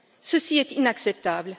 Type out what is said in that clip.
Ceci est inacceptable!